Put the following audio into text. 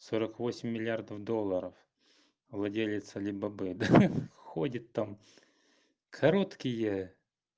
сорок восемь миллиардов долларов владелец алибабы да ходит там короткие